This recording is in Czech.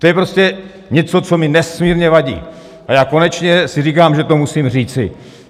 To je prostě něco, co mi nesmírně vadí, a já konečně si říkám, že to musím říci.